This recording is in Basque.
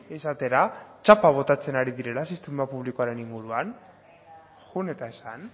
esatera txapa botatzen ari direla sistema publikoaren inguruan joan eta esan